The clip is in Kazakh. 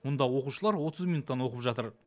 мұнда оқушылар отыз минуттан оқып жатыр